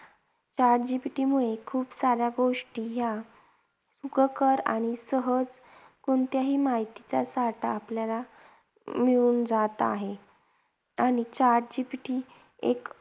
Chat GPT मुळे खूप साऱ्या गोष्टी ह्या सुखकर आणि सहज कोणत्याही माहितीचा साठा आपल्याला अं मिळून जात आहे. आणि chat GPT एक